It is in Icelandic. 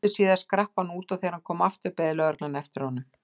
Litlu síðar skrapp hann út og þegar hann kom aftur beið lögreglan eftir honum.